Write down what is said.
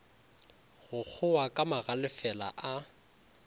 go kgowa ka magalefela a